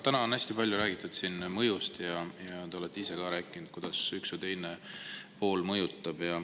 Täna on siin hästi palju räägitud mõjust ja te olete ise ka rääkinud, kuidas üks või teine pool midagi mõjutab.